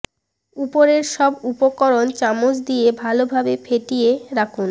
উপরের সব উপকরণ চামচ দিয়ে ভালো ভাবে ফেটিয়ে রাখুন